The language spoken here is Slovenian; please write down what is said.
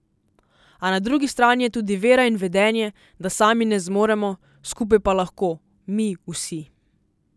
A na drugi strani je tudi vera in vedenje, da sami ne zmoremo, skupaj pa lahko, mi vsi.